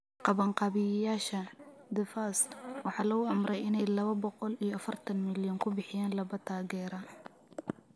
Qabanqaabiyeyaasha, The Fasts, waxaa lagu amray inay lawa boqol iyo afartan milyan ku bixiyaan laba taageere.